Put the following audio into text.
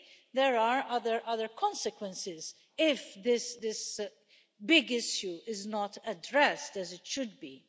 there are other consequences if this big issue is not addressed as it should be.